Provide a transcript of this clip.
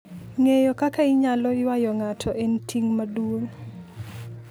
Ng'eyo kaka inyalo ywayo ng'ato en ting' maduong'.